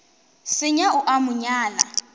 senya o a mo nyala